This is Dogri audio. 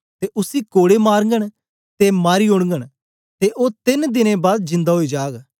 ते उसी कोड़े मारगन ते मारी ओडगन ते ओ तेन दिने बाद जिन्दा ओई जाग